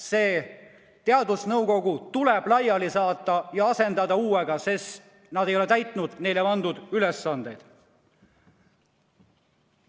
See teadusnõukoda tuleb laiali saata ja asendada uuega, sest nad ei ole täitnud neile pandud ülesandeid.